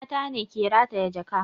Mata ne ke rataya jaka